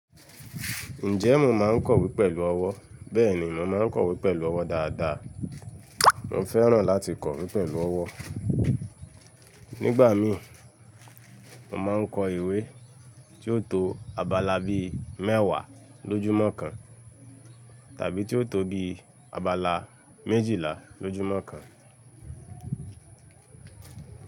Ǹjẹ́ mo máa ń kọ ìwé pẹ̀lú ọwọ́? Bẹ́ẹ̀ni, mo máa ń kọ ìwé pẹ̀lú ọwọ́ dáadáa. Mo fẹ́ràn láti kọ ìwé pẹ̀lú ọwọ́. Nígbà mí, mo máa ń kọ ìwé tí ó tó abala bí mẹ́wàá lójúmọ́ kan tàbí tí ó tó bí abala méjìlá lójúmọ́ kan.